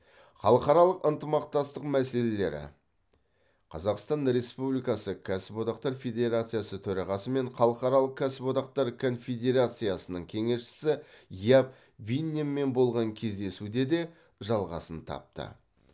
халықаралық ынтымақтастық мәселелері қазақстан республикасы кәсіп одақтар федерациясы төрағасы мен халықаралық кәсіподақтар конфедерациясының кеңесшісі яп винненмен болған кездесуде де жалғасын тапты